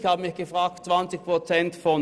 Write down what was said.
Ich habe mich gefragt, wovon 20 Prozent.